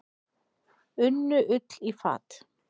Unnu Ull í fat.